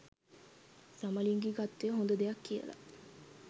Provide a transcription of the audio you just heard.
සමලිංගිකත්වය හොද දෙයක් කියල